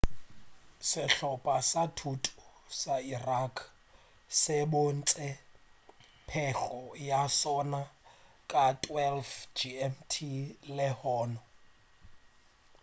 sehlopa sa thuto sa iraq se bontšitše pego ya sona ka 12.00 gmt lehono